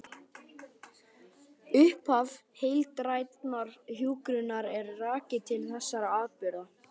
Upphaf heildrænnar hjúkrunar er rakið til þessara atburða.